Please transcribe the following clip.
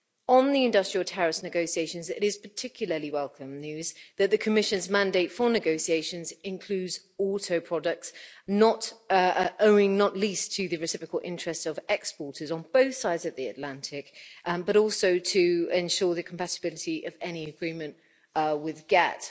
On the industrial tariffs negotiations, it is particularly welcome news that the Commission's mandate for negotiations includes auto products, owing not least to the reciprocal interests of exporters on both sides of the Atlantic but also to ensure the compatibility of any agreement with GATT.